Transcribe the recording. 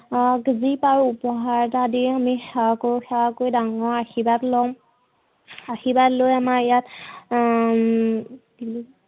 যি পাৰো উপহাৰ এটা দিয়ে আমি সেৱা কৰো, সেৱা কৰি আমি ডাঙৰৰ আশীৰ্বাদ লম আশীৰ্বাদ লৈ আমাৰ ইয়াত হম